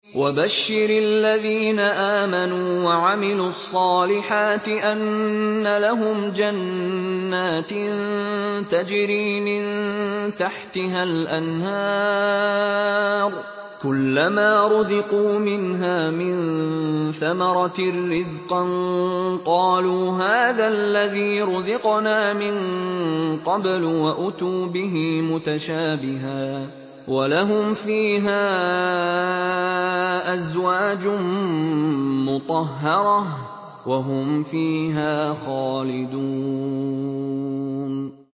وَبَشِّرِ الَّذِينَ آمَنُوا وَعَمِلُوا الصَّالِحَاتِ أَنَّ لَهُمْ جَنَّاتٍ تَجْرِي مِن تَحْتِهَا الْأَنْهَارُ ۖ كُلَّمَا رُزِقُوا مِنْهَا مِن ثَمَرَةٍ رِّزْقًا ۙ قَالُوا هَٰذَا الَّذِي رُزِقْنَا مِن قَبْلُ ۖ وَأُتُوا بِهِ مُتَشَابِهًا ۖ وَلَهُمْ فِيهَا أَزْوَاجٌ مُّطَهَّرَةٌ ۖ وَهُمْ فِيهَا خَالِدُونَ